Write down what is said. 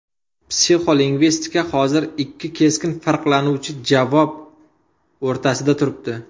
Psixolingvistika hozir ikki keskin farqlanuvchi javob o‘rtasida turibdi.